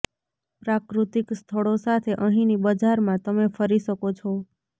પ્રાકૃત્તિક સ્થળો સાથે અહીંની બજારમાં તમે ફરી શકો છો